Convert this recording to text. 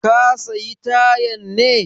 Ka sayi tayan ne?